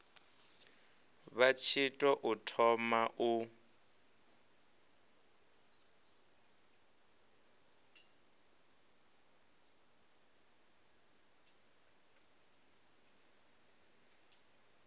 vha tshi tou thoma u